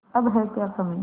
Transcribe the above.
अब है क्या कमीं